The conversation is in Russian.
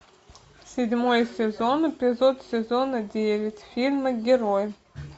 седьмой сезон эпизод сезона девять фильма герои